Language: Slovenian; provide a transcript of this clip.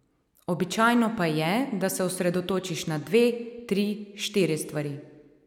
Običajno pa je, da se osredotočiš na dve, tri, štiri stvari.